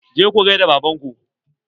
Je ku gaida baban ku!